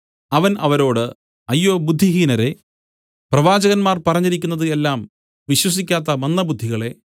അവൻ അവരോട് അയ്യോ ബുദ്ധിഹീനരേ പ്രവാചകന്മാർ പറഞ്ഞിരിക്കുന്നത് എല്ലാം വിശ്വസിക്കാത്ത മന്ദബുദ്ധികളേ